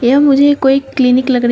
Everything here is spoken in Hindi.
यह मुझे कोई क्लिनिक लग रही--